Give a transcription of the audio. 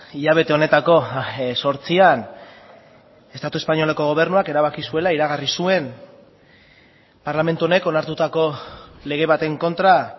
hilabete honetako zortzian estatu espainoleko gobernuak erabaki zuela iragarri zuen parlamentu honek onartutako lege baten kontra